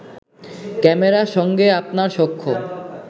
ক্যামেরার সঙ্গে আপনার সখ্য